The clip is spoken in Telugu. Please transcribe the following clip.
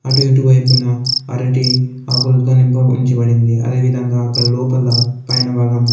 అటు ఇటు వైపున అరటి ఆకులలో నింప ఉంచబడింది. అదేవిధంగా అక్కడ లోపల పైన భాగంలో--